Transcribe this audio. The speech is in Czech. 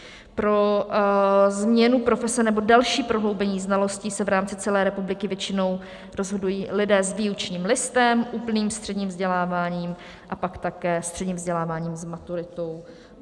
Pro změnu profese nebo další prohloubení znalostí se v rámci celé republiky většinou rozhodují lidé s výučním listem, úplným středním vzděláním a pak také středním vzděláním s maturitou.